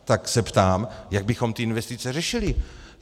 Tak se ptám, jak bychom ty investice řešili.